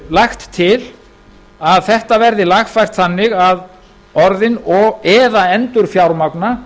lagt til að þetta verði lagfært þannig að orðin eða endurfjármagna